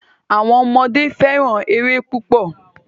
Àwọn ọmọdé fẹ́ràn eré púpọ̀.